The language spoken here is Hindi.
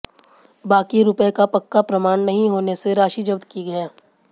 बाकी रुपए का पक्का प्रमाण नहीं होने से राशि जब्त की है